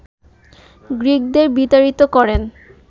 গ্রীকদের বিতাড়িত করেন